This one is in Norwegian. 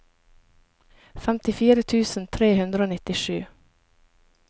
femtifire tusen tre hundre og nittisju